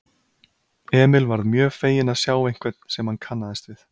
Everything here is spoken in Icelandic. Emil varð mjög feginn að sjá einhvern sem hann kannaðist við.